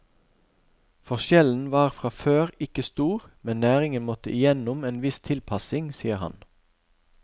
Forskjellen var fra før ikke stor, men næringen måtte igjennom en viss tilpasning, sier han.